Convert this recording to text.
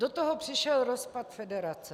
Do toho přišel rozpad federace.